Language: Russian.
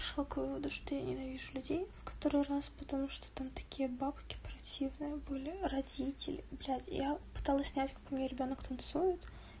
шла к выводу что я ненавижу людей в который раз потому что там такие бабки противные были родители блять я пыталась снять какой меня ребёнок танцует